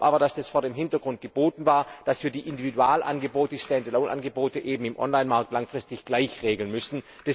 Ich glaube aber, dass es vor dem Hintergrund geboten war, dass wir die Individualangebote Stand alone Angebote eben im Online Markt langfristig gleich regeln müssen.